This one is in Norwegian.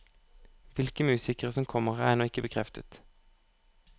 Hvilke musikere som kommer, er ennå ikke bekreftet.